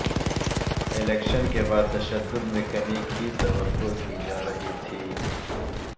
election کے بعد تشدد میں کمی کی توقع کی جارہی تھی